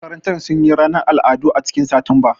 Makarantar sun yi ranar al'adu a cikin Satumba